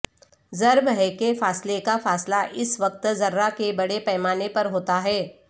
ضرب ہے کہ فاصلے کا فاصلہ اس وقت ذرہ کے بڑے پیمانے پر ہوتا ہے